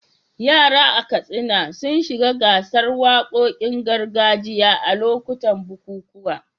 Yara a Katsina sun shiga gasar wakokin gargajiya a lokutan bukukuwa.